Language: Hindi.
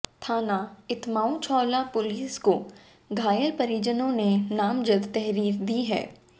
थाना एत्माउद्दौला पुलिस को घायल के परिजनों ने नामजद तहरीर दी है